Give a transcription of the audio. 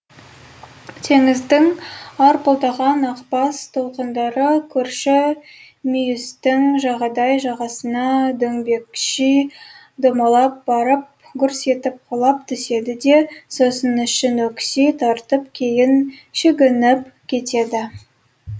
теңіздің арпылдаған ақбас толқындары көрші мүйістің жағадай жағасына дөңбекши домалап барып гүрс етіп құлап түседі де сосын ішін өкси тартып кейін шегініп кетеді